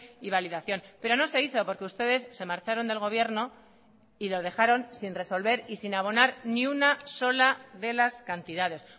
y validación pero no se hizo porque ustedes se marcharon del gobierno y lo dejaron sin resolver y sin abonar ni una sola de las cantidades